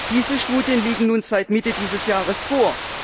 Diese Studien liegen nun seit Mitte dieses Jahres vor.